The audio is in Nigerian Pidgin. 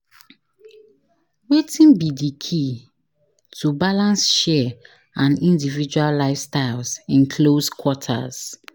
Wetin be di key to balance share and individual lifestyles in close quarters.